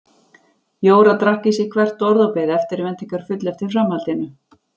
Jóra drakk í sig hvert orð og beið eftirvæntingarfull eftir framhaldinu.